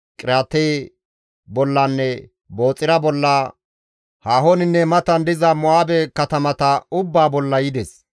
Qiriyaate bollanne Booxira bolla, haahoninne matan diza Mo7aabe katamata ubbaa bolla yides.